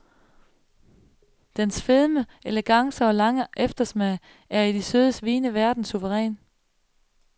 Dens fedme, elegance og lange eftersmag er i de søde vines verden suveræn.